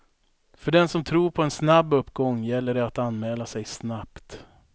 För den som tror på en snabb uppgång gäller det att anmäla sig snabbt.